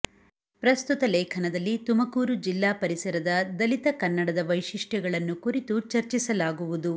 ಪ್ರಸ್ತುತ ಲೇಖನದಲ್ಲಿ ತುಮಕೂರು ಜಿಲ್ಲಾ ಪರಿಸರದ ದಲಿತ ಕನ್ನಡದ ವೈಶಿಷ್ಟ್ಯಗಳನ್ನು ಕುರಿತು ಚರ್ಚಿಸಲಾಗುವುದು